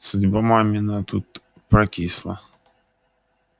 судьба мамина тут прокисла